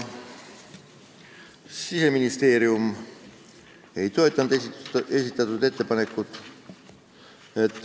Siseministeerium ei toetanud esitatud ettepanekut.